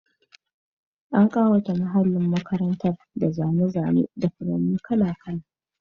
An kawata muhallin makarantar da zane-zane da furanni kala-kala.